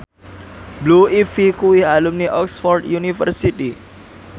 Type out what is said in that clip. Blue Ivy kuwi alumni Oxford university